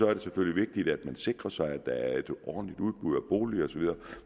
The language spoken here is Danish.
er det selvfølgelig vigtigt at man sikrer sig at der er et ordentligt udbud af boliger osv